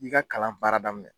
I k'i ka kalan baara daminɛ